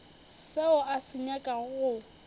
seo a se nyakago go